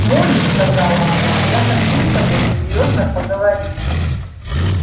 молли сказала она я хочу с тобой серьёзно поговорить